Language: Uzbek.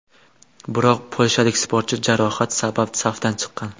Biroq polshalik sportchi jarohat sabab safdan chiqqan.